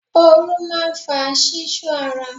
Ooru máa ń fa ṣíṣú ara.